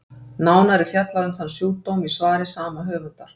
nánar er fjallað um þann sjúkdóm í svari sama höfundar